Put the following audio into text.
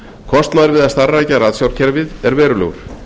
kostnaður við að starfrækja ratsjárkerfið er verulegur